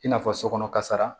I n'a fɔ so kɔnɔ kasara